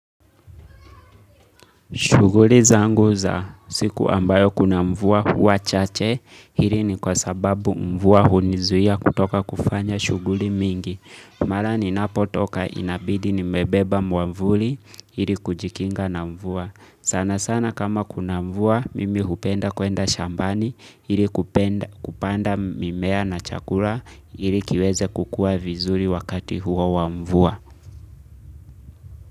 Shughuli zangu za siku ambayo kuna mvua huwa chache, hili ni kwa sababu mvua hunizuia kutoka kufanya shughuli mingi. Mara ninapo toka inabidi nimebeba mwavuli, ili kujikinga na mvua. Sana sana kama kuna mvua, mimi hupenda kwenda shambani, ili kupenda kupanda mimea na chakula, ili kiweze kukua vizuri wakati huo wa mvua.